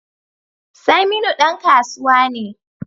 Saminu dan kasuwa ne